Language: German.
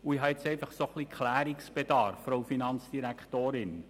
Ich habe momentan Klärungsbedarf, Frau Finanzdirektorin.